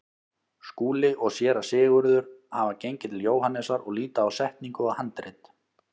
Skúli og Séra Sigurður hafa gengið til Jóhannesar og líta á setningu og handrit.